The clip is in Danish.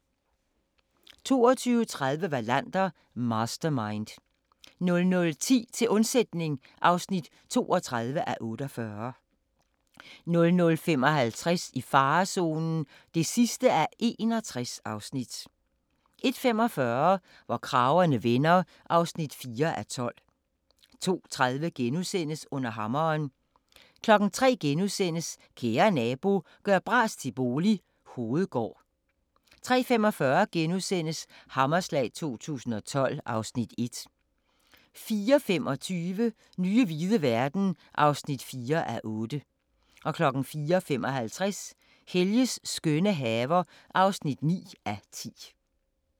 22:30: Wallander: Mastermind 00:10: Til undsætning (32:48) 00:55: I farezonen (61:61) 01:45: Hvor kragerne vender (4:12) 02:30: Under hammeren * 03:00: Kære nabo – gør bras til bolig – Hovedgård * 03:45: Hammerslag 2012 (Afs. 1)* 04:25: Nye hvide verden (4:8) 04:55: Helges skønne haver (9:10)